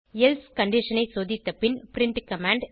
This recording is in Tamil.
எல்சே கண்டிஷன் ஐ சோதித்த பின் பிரின்ட் கமாண்ட்